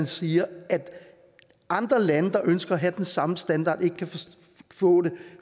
sige at andre lande der ønsker at have den samme standard ikke kan få det